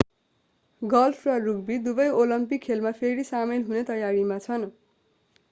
golf र rugby दुबै Olympic खेलमा फेरि सामेल हुने तयारीमा छन्